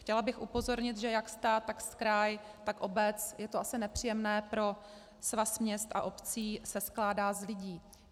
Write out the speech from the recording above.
Chtěla bych upozornit, že jak stát, tak kraj, tak obec, je to asi nepříjemné pro Svaz měst a obcí, se skládá z lidí.